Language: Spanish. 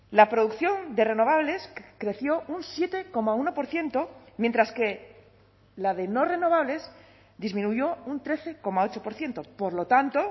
la producción de renovables creció un siete coma uno por ciento mientras que la de no renovables disminuyó un trece coma ocho por ciento por lo tanto